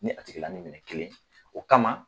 Ni a tigɛ la ni minɛ kelen o kama.